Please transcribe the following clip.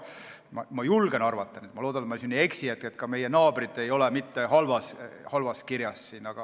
Ma julgen arvata – ma loodan, et ma ei eksi –, et ka meie naabrid ei ole mitte halvas kirjas.